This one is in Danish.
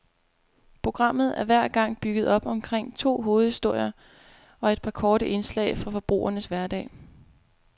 Programmet er hver gang bygget op omkring to hovedhistorier og et par korte indslag fra forbrugernes hverdag.